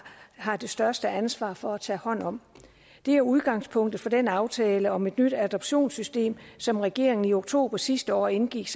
har det største ansvar for at tage hånd om det er udgangspunktet for den aftale om et nyt adoptionssystem som regeringen i oktober sidste år indgik